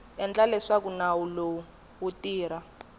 endla leswaku nawu lowu wu